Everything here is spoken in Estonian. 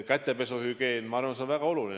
Ka kätehügieen on minu arvates väga oluline.